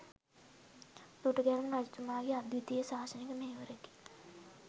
දුටුගැමුණු රජතුමාගේ අද්විතීය ශාසනික මෙහෙවරකි.